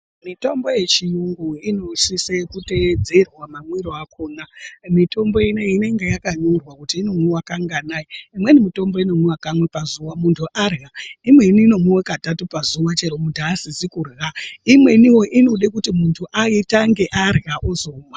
Mitombo ye chiyungu ino sise ku tedzerwa ma mwiro akona mitombo ineyi inenge yaka nyorwa kuti ino mwiwa kanganai imweni mutombo ino mwiwa kamwe pa zuva muntu arya imweni ino mwiwa katatu pazuva chero muntu asisi kurya imweniwo inode kuti muntu atange arya ozomwa.